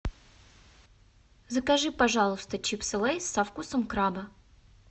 закажи пожалуйста чипсы лейс со вкусом краба